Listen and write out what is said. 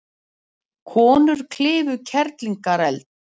Konur klifu Kerlingareld